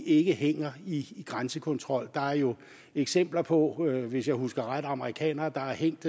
ikke hænger i grænsekontrol der er jo eksempler på hvis jeg husker ret amerikanere der har hængt